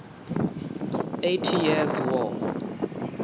eighty years war